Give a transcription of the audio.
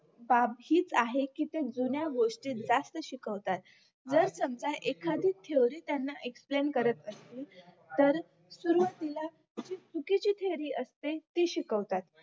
बाब हीच आहे की त्या जुन्या गोष्टी जास्त शिकवतात जर समजा एखादी theory त्यांना explain करत असेल तर सुरवातीला जी चुकीची theory असते ती शिकवतात